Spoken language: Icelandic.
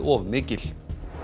of mikil